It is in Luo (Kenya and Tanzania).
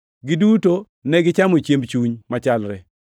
Giduto negichamo chiemb chuny machalre